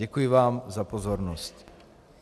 Děkuji vám za pozornost.